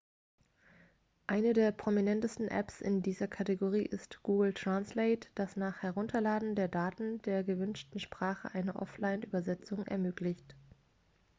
eine der prominentesten apps in dieser kategorie ist google translate das nach herunterladen der daten der gewünschten sprache eine offline-übersetzung ermöglicht